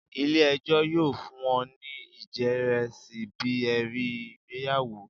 ile-ẹjọ yoo fun ọ ni ijẹrisi bi ẹri igbeyawo.